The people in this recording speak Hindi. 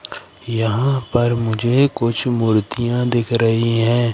यहां पर मुझे कुछ मूर्तियां दिख रही है।